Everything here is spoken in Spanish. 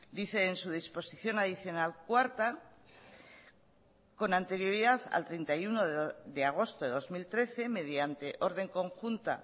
dice en su disposición adicional cuarta con anterioridad al treinta y uno de agosto de dos mil trece mediante orden conjunta